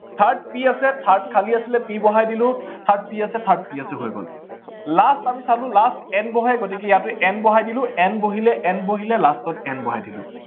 third p আছে, third খালী আছিলে p বহাই দিলো, third p আছে, third p আছে হৈ গল। last আমি চালো, last n বহে গতিকে ইয়াতো n বহাই দিলো n বহিলে n বহিলে last ত n বহাই দিলো।